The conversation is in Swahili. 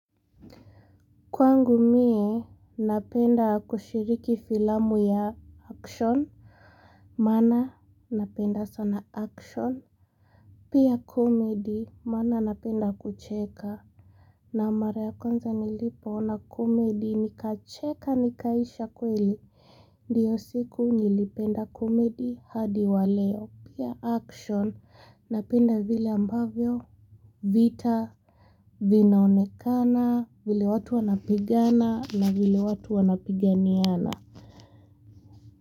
Kwangu mie, napenda kushiriki filamu ya action, maana napenda sana action. Pia comedy, maana napenda kucheka. Na mara ya kwanza nilipoona comedy, nikacheka, nikaisha kweli. Ndio siku nilipenda comedy hadi wa leo. Pia action, napenda vile ambavyo vita vinaonekana, vile watu wanapigana na vile watu wanapiganiana.